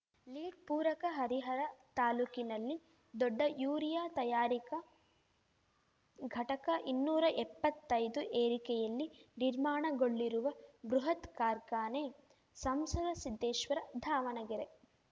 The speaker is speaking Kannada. ಲೀಡ್‌ ಪೂರಕ ಹರಿಹರ ತಾಲೂಕಿನಲ್ಲಿ ದೊಡ್ಡ ಯೂರಿಯಾ ತಯಾರಿಕಾ ಘಟಕ ಇನ್ನೂರಾ ಎಪ್ಪತ್ತೈದು ಎರಿಕೆಯಲ್ಲಿ ನಿರ್ಮಾಣಗೊಳ್ಳಿರುವ ಬೃಹತ್‌ ಕಾರ್ಖಾನೆ ಸಂಸದ ಸಿದ್ದೇಶ್ವರ ದಾವಣಗೆರೆ